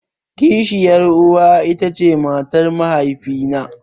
Kishiyar uwa ita ce matar mahaifi na.